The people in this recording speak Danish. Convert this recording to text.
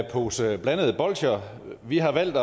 pose blandede bolsjer vi har valgt